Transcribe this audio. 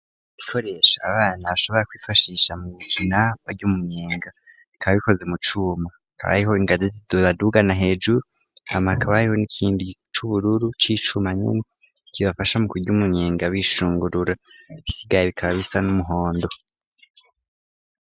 Ibikoresho abana bashobora kwifashisha mu gukina bary'umunyenga bikaba bikoze mu cuma hakaba ariho ingazi z'ibadugana hejuru hama hakaba hariho n'ikindi cubururu c'icuma nyene kibafasha mu kurya umunyenga bishungurura ibisigaye bikaba bisa n'umuhondo.